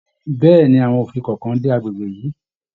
Bẹ̀ẹ́ni, àwọn òfin kọọkan dé agbègbè yìí.